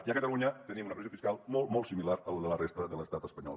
i a catalunya tenim una pressió fiscal molt molt similar a la de la resta de l’estat espanyol